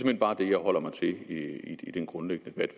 hen bare det jeg holder mig til i den grundlæggende debat